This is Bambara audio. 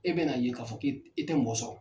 E bɛ n'a ye k'a fɔ ki i tɛ mɔgɔ sɔrɔ.